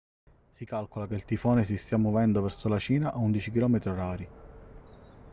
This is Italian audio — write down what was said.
si calcola che il tifone si stia muovendo verso la cina a 11 km/h